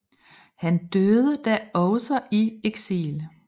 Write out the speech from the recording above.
Han døde da også i eksil